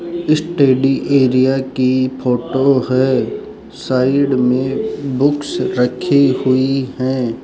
Study area की photo है side में बुक्स रखी हुई हैं।